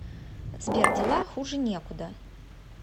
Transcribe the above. сбер дела хуже некуда